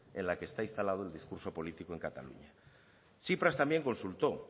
en la que está instalado el discurso político en cataluña tsipras también consultó